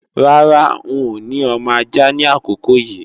Rárá, n ò ní ọmọ ajá ni àkókò yí